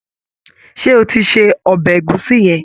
Ṣé o ti se ọbẹ̀ ẹ̀gúsí yẹn?